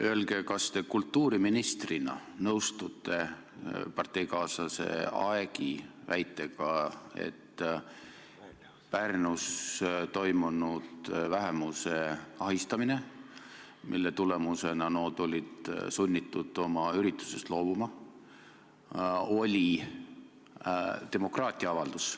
Öelge, kas te kultuuriministrina nõustute parteikaaslase Aegi väitega, et Pärnus teoks saanud vähemuse ahistamine, mille tagajärjel nood olid sunnitud oma üritusest loobuma, oli demokraatia avaldus.